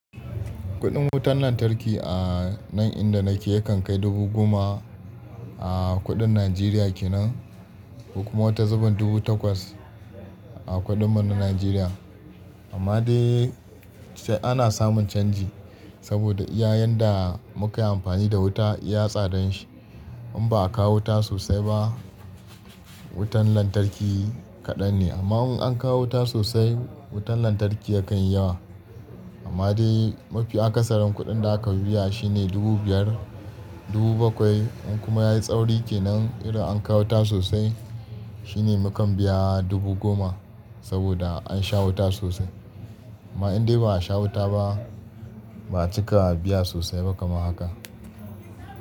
Kuɗin wutar lantarki a nan inda nake yakan kai dubu goma a kuɗin Najeriya kenan. Kuma wata zuben dubu takwas a kuɗin mu na Najeriya. Amma dai sai ana samun canji saboda iya yanda muka yi amfani da wuta iya tsadan shi. In ba a kawo wuta sosai ba, wutan lantarki kaɗan ne. Amma in an kawo wuta sosai, wutan lantarki yakan yi yawa. Amma dai mafi akasarin kuɗin da aka biya shine dubu biyar, dubu bakwai. In kuma yayi tsauri kenan irin an kawo wuta sosai shine mukan biya dubu goma saboda an sha wuta sosai. Amma in dai ba a sha wuta ba, ba a cika a biya sosai ba kamar haka.